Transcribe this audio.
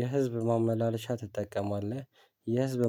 የህዝብ ማመላለሻ ትጠቀማለህ? የህዝብ